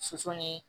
Soso ni